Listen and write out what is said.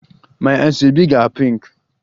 My asoebi ga-pink